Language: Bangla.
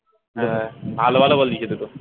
হ্যাঁ ভালো ভালো goal দিয়েছে দুটো